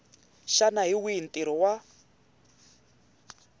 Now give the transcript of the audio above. xana hi wihi ntirho wa